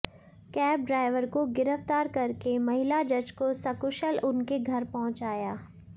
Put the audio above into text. cab driver को गिरफ्तार करके महिला जज को सकुशल उनके घर पहुंचाया